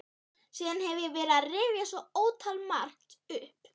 Síðan hef ég verið að rifja svo ótalmargt upp.